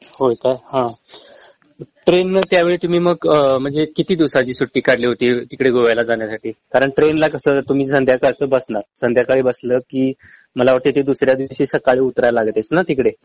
होय काय हं ट्रेन न त्यावेळी तुम्ही मग म्हणजे किती दिवसांची सुट्टी काढली होती तिकडे गोव्याला जाण्यासाठी कारण ट्रेनला कसं तुम्ही संध्याकाळचं बसणार संध्याकाळी बसलं कि मला वाटत ते दुसऱ्या दिवशी सकाळी उतराय लागतेस ना तिकडे